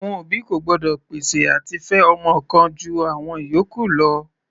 Àwọn òbí kò gbọ́dọ̀ pèsè àti fẹ ọmọ kan ju àwọn ìyókù lọ.